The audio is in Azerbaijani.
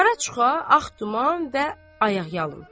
Qara çuxa, ağ duman və ayaqyalın.